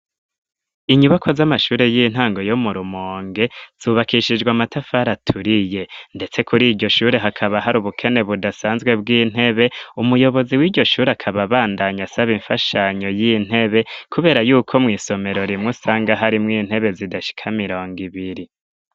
Inyubakwa z'amashure y'intango, yo mu Rumonge, zubakishijwe amatafari aturiye; ndetse kuri iryo shure, hakaba hari ubukene budasanzwe bw'intebe, umuyobozi w'iryo shure, akaba abandanya asaba imfashanyo y'intebe, kubera y'uko mw'isomero rimwe, usanga harimwo intebe, zidashika mirongo ibiri.